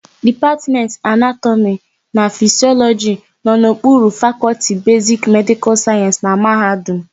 Dipatmentị Anatọmị na Fisịọlọjị nọ n'okpuru Fakọlti Besiki Medịkal Sayensị na mahadum.